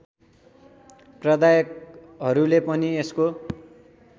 प्रदायकहरूले पनि यसको